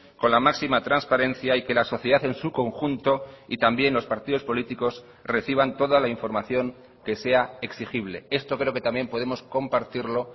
con la máxima transparencia y que la sociedad en su conjunto y también los partidos políticos reciban toda la información que sea exigible esto creo que también podemos compartirlo